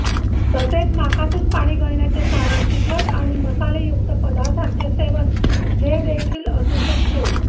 तसेच नाकातून पाणी गळण्याचे कारण तिखट आणि मसालेयुक्त पदार्थांचे सेवन हेदेखील असू शकते